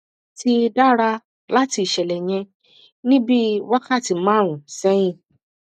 ti dara lati iṣẹlẹ yẹn ni bii wakati marun sẹhin